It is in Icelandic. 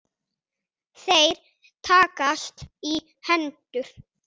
Þeir takast í hendur.